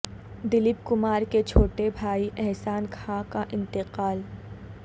دلیپ کمار کے چھوٹے بھائی احسان خاں کا انتقال